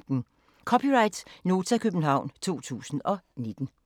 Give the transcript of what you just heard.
(c) Nota, København 2019